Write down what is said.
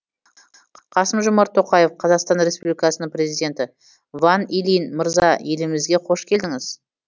қасым жомарт тоқаев қазақстан республикасының президенті ван илинь мырза елімізге қош келдіңіз